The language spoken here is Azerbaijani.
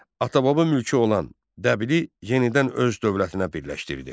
Ata-baba mülkü olan Dəbili yenidən öz dövlətinə birləşdirdi.